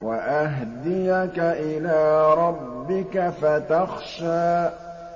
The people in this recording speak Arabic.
وَأَهْدِيَكَ إِلَىٰ رَبِّكَ فَتَخْشَىٰ